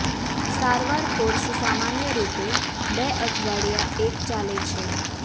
સારવાર કોર્સ સામાન્ય રીતે બે અઠવાડિયા એક ચાલે છે